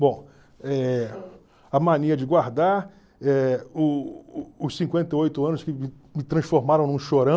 Bom, eh a mania de guardar, eh os cinquenta e oito anos que me transformaram num